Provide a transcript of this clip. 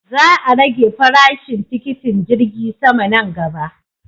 Za a rage farashin tikitin jirgi sama nan gaba.